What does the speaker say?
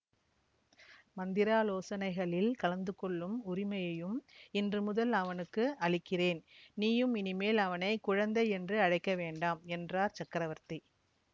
மந்திராலோசனைகளில் கலந்துகொள்ளும் உரிமையையும் இன்று முதல் அவனுக்கு அளிக்கிறேன் நீயும் இனிமேல் அவனை குழந்தை என்று அழைக்க வேண்டாம் என்றார் சக்கரவர்த்தி